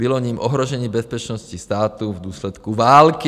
Bylo jím ohrožení bezpečnosti státu v důsledku války.